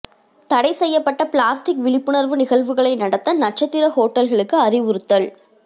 தடை செய்யப்பட்ட பிளாஸ்டிக் விழிப்புணா்வு நிகழ்வுகளை நடத்த நட்சத்திர ஹோட்டல்களுக்கு அறிவுறுத்தல்